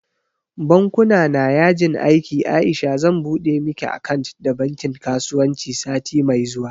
Bankuna na yajin aiki Aisha zan buɗe miki akant da bankin kasuwanci sati mai zuwa